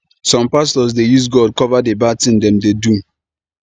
some pastors dey use god cover the bad thing dem dey do